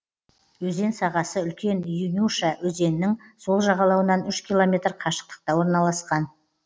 өзен сағасы үлкен инюша өзенінің сол жағалауынан үш километр қашықтықта орналасқан